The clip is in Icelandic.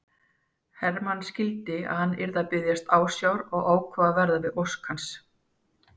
Hermann skildi að hann var að biðjast ásjár og ákvað að verða við ósk hans.